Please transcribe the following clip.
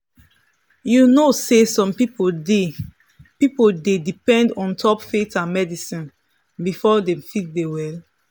you know say some people dey people dey depend ontop faith and medicine before dem fit dey well.